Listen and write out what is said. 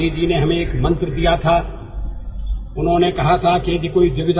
గాంధీజీ ఒక సూత్రం పేర్కొన్నారని మనందరికీ గుర్తుంది